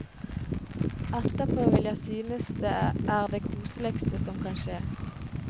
Etterpå vil jeg synes det er det koseligste som kan skje.